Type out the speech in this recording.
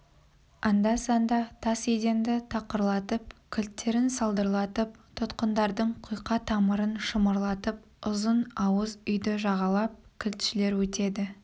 анда-санда тас еденді тақырлатып кілттерін сылдырлатып тұтқындардың құйқа тамырын шымырлатып ұзын ауыз үйді жағалап кілтшілер өтеді